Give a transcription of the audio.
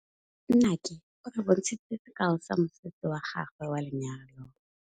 Nnake o re bontshitse sekaô sa mosese wa gagwe wa lenyalo.